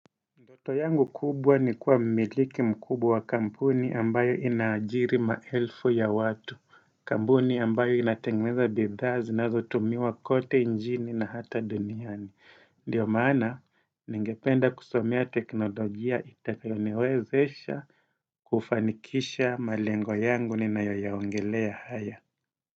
Ndoto yangu kubwa ni kuwa mmiliki mkubwa kampuni ambayo ina ajiri maelfu ya watu Kambuni ambayo inatengeneza bidhaa zinazotumiwa kote njini na ata duniani Ndio maana, ningependa kusomea teknolojia itakayo niwezesha kufanikisha malengo yangu ninayo yaongelea haya.